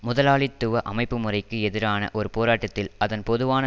முதலாளித்துவ அமைப்புமுறைக்கு எதிரான ஒரு போராட்டத்தில் அதன் பொதுவான